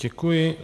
Děkuji.